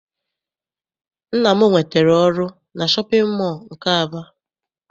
Nna m nwetara ọrụ na shọpịn mọọ nke Aba.